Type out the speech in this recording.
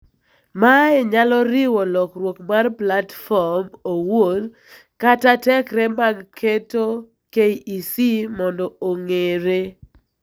Mae nyalo riwo lokruok mar platform owuon kata tekre mag keto KEC mondo ong'eere.